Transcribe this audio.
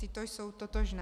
Tyto jsou totožné.